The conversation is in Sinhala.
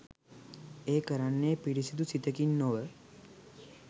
ඒ කරන්නේ පිරිසිදු සිතකින් නොව